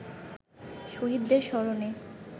শহীদদের স্মরণে